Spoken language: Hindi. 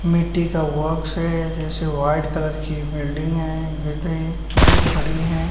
मिट्टी का बॉक्स है। जैसे वाइट की बिल्डिंग है। है दो खड़ी हैं।